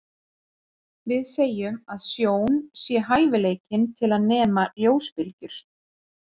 Við segjum að sjón sé hæfileikinn til að nema ljósbylgjur.